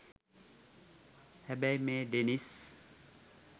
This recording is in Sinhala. හැබැයි මේ ඩෙනිස්